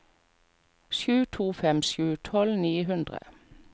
sju to fem sju tolv ni hundre